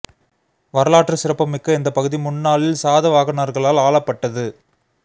வரலாற்று சிறப்பு மிக்க இந்த பகுதி முன் நாளில் சாதவாகனர்களால் ஆளப்பட்டது